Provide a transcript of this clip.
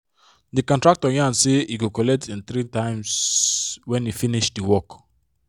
the contractor yan say he go colet him 3 times when he finish the work